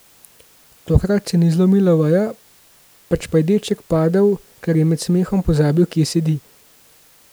Tokrat se ni zlomila veja, pač pa je deček padel, ker je med smehom pozabil, kje sedi.